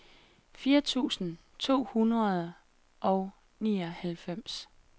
fire tusind to hundrede og nioghalvfems